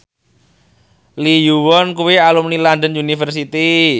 Lee Yo Won kuwi alumni London University